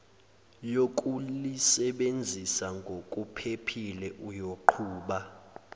yokulisebenzisa ngokuphephile uyoqhuba